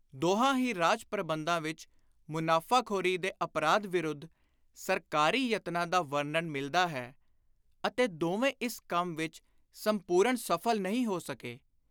ਦੋਹਾਂ ਹੀ ਰਾਜ-ਪ੍ਰਬੰਧਾਂ ਵਿਚ ਮੁਨਾਫ਼ਾਖ਼ੋਰੀ ਦੇ ਅਪਰਾਧ ਵਿਰੁੱਧ ਸਰਕਾਰੀ ਯਤਨਾਂ ਦਾ ਵਰਣਨ ਮਿਲਦਾ ਹੈ ਅਤੇ ਦੋਵੇਂ ਇਸ ਕੰਮ ਵਿਚ ਸੰਪੁਰਣ ਸਫਲ ਨਹੀਂ ਹੋ ਸਕੇ।